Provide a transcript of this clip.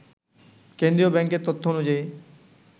কেন্দ্রীয় ব্যাংকের তথ্য অনুযায়ী